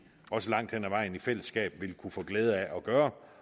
også langt hen ad vejen i fællesskab vil kunne få glæde af at gøre